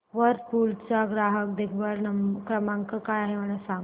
Whirlpool चा ग्राहक सेवा क्रमांक काय आहे मला सांग